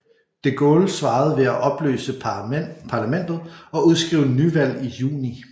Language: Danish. De Gaulle svarede ved at oppløse parlamentet og udskrive nyvalg i juni